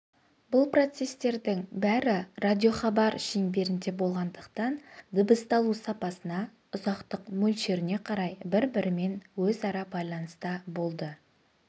бұл процестердің бәрі радиохабар шеңберінде болғандықтан дыбысталу сапасына ұзақтық мөлшеріне қарай бір-бірімен өзара байланыста болды